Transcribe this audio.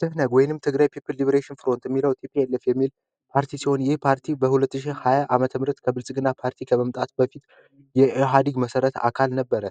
በ 2010 ዓ.ም ከብልጽግና ፓርቲ ከመምጣት በፊት መሰረት አካል ነበር